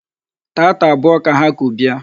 Taata abụọ ka ha ku bịa.